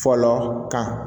Fɔlɔ kan